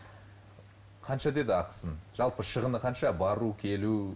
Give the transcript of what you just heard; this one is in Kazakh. қанша деді ақысын жалпы шығыны қанша бару келу